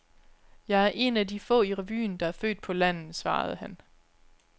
Jeg er en af de få i revyen, der er født på landet, svarede han.